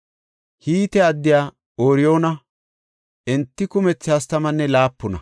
Hite addiya Ooriyoona. Enti kumethi hastamanne laapuna.